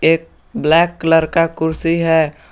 एक black colour का कुर्सी है।